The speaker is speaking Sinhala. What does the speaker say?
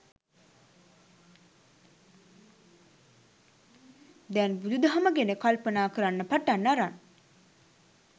දැන් බුදුදහම ගැන කල්පනා කරන්න පටන් අරන්.